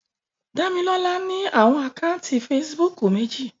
Damilola ni awọn ákáuntì Fèsìbúukù meji